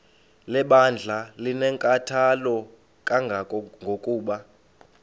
lebandla linenkathalo kangangokuba